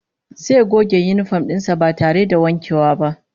Zai goge yinifom din sa ba tare da wankewa ba